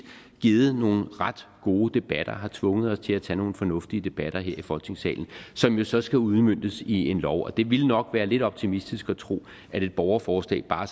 givet nogle ret gode debatter har tvunget os til at tage nogle fornuftige debatter her i folketingssalen som jo så skal udmøntes i en lov og det ville nok være lidt optimistisk at tro at et borgerforslag bare